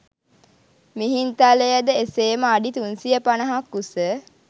මිහින්තලයද එසේම අඩි 350ක් උස